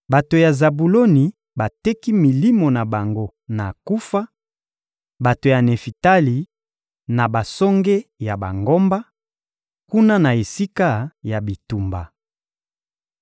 Bato ya Zabuloni bateki milimo na bango na kufa, bato ya Nefitali, na basonge ya bangomba, kuna na esika ya bitumba.